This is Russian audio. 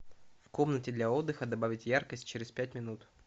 в комнате для отдыха добавить яркость через пять минут